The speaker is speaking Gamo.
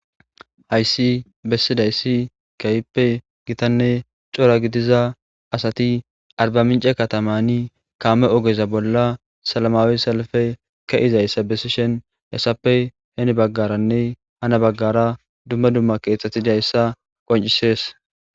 hayssi bessidayssi kayppe gitanne cora gidiza asati arba mince katamani kaame ogeza bolla salmaawi salafe ka izayssa bessishen hessappe heni baggaranne hana baggara dumma dumma keeththatidayssa qoncisees